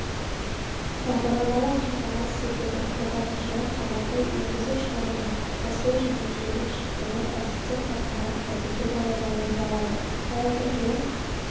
бағдарламалық қамтамасыз етудің қолданушылық қабаты енгізу-шығарудың қосылу және жүйелік шақыруы әдетте кітапханалық процедураларда орындалады файлдық жүйе